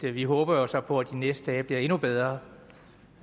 vi håber jo så på at de næste dage bliver endnu bedre